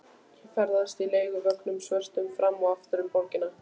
Ég ferðast í leiguvögnunum svörtu fram og aftur um borgina.